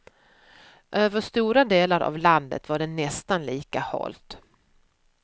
Över stora delar av landet var det nästan lika halt.